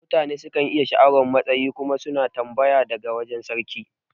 Mutane sukan iya sha'awar matsayi kuma suna tambaya daga wajan sarki